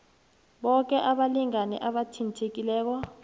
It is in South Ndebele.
boke abalingani abathintekileko